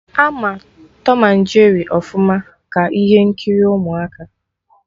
Ama Tọm na Jeri ọfụma, ka ihe nkiri ụmụaka